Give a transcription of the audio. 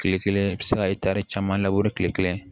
Kile kelen i bi se ka caman labure kile kelen